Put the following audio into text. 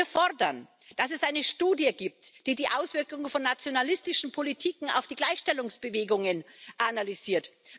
Wir fordern, dass es eine Studie gibt, die die Auswirkungen von nationalistischen Politiken auf die Gleichstellungsbewegungen analysiert.